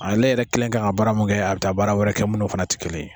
Aale yɛrɛ kelen kan ka baara mun kɛ a bi taa baara wɛrɛ kɛ minnu fana tɛ kelen ye.